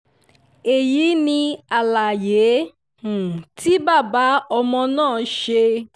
èyí ni àlàyé um tí bàbá ọmọ náà ṣe